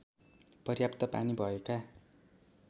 पर्याप्त पानी भएका